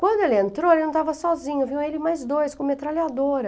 Quando ele entrou, ele não estava sozinho, vinham ele e mais dois com metralhadora.